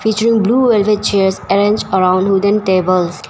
Which room blue wooden chairs arranged around wooden tables.